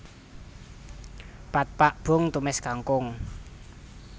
Pad Pak boong tumis kangkung